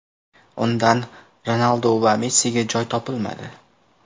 Undan Ronaldu va Messiga joy topilmadi !